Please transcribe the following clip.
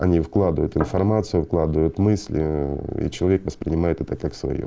они вкладывают информацию вкладывает мысли и человек воспринимает это как своё